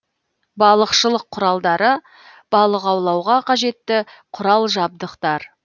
балықшылық құралдары балық аулауға қажетті құрал жабдықтар